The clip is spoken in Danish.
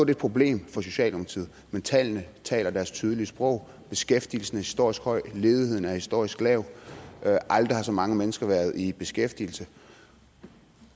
et problem for socialdemokratiet men tallene taler deres tydelige sprog beskæftigelsen er historisk høj ledigheden er historisk lav aldrig har så mange mennesker været i beskæftigelse